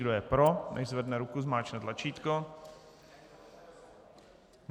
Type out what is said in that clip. Kdo je pro, nechť zvedne ruku, zmáčkne tlačítko.